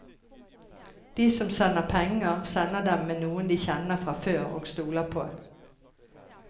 De som sender penger, sender dem med noen de kjenner fra før og stoler på.